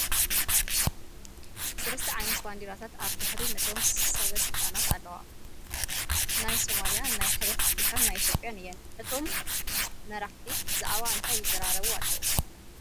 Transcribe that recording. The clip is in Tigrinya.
3 ዓይነት ባንዴራታት ኣብ ድሕሪቶም ነቶም ሰበስልጣናት ኣለዋ፡፡ ናይ ሱማልያ፣ ናይ ሕብረት ኣፍሪካን ናይ ኢ/ያን እየን፡፡ እቶም መራሕቲ ብዛዕባ እንታይ ይዘራረቡ ኣለው ትብሉ?